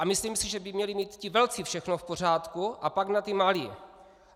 A myslím si, že by měli mít ti velcí všechno v pořádku, a pak na ty malé.